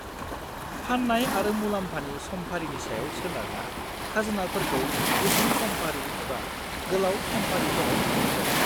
फान्नाय आरो मुलाम्फानि समफारिनि सायाव सोनारना खाजोनाफोरखौ गुसुं समफारि एबा गोलाव समफारिफोराव रान्नाय जादों।